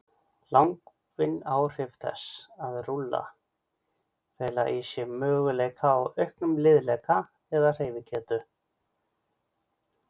Langvinn áhrif þess að rúlla fela í sér möguleika á auknum liðleika eða hreyfigetu.